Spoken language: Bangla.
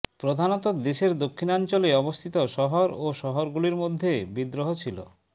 প্রধানত দেশের দক্ষিণাঞ্চলে অবস্থিত শহর ও শহরগুলির মধ্যে বিদ্রোহ ছিল